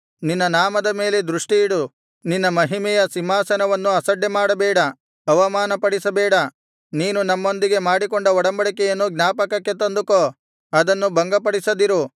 ನಿನ್ನ ನಾಮದ ಮೇಲೆ ದೃಷ್ಟಿಯಿಡು ನಿನ್ನ ಮಹಿಮೆಯ ಸಿಂಹಾಸನವನ್ನು ಅಸಡ್ಡೆಮಾಡಬೇಡ ಅವಮಾನಪಡಿಸಬೇಡ ನೀನು ನಮ್ಮೊಂದಿಗೆ ಮಾಡಿಕೊಂಡ ಒಡಂಬಡಿಕೆಯನ್ನು ಜ್ಞಾಪಕಕ್ಕೆ ತಂದುಕೋ ಅದನ್ನು ಭಂಗಪಡಿಸದಿರು